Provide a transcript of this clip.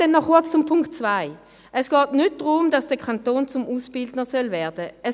Dann noch kurz zum Punkt 2: Es geht nicht darum, dass der Kanton zum Ausbildner werden soll.